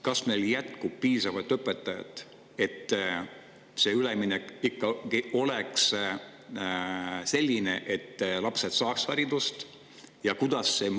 Kas meil jätkub piisavalt õpetajaid, et see üleminek ikkagi oleks selline, et lapsed saaks haridust?